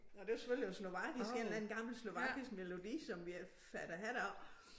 Og det var selvfølgelig en slovakisk en eller anden gammel slovakisk melodi som vi fattede hat af